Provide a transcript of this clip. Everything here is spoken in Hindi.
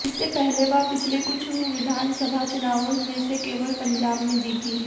इससे पहले वह पिछले कुछ विधानसभा चुनावों में से केवल पंजाब में जीती है